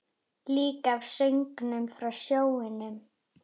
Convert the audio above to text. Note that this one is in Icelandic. Líka af söngnum frá sjónum.